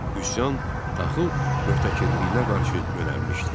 Üsyan taxıl möhtəkirləyinə qarşı yönəlmişdi.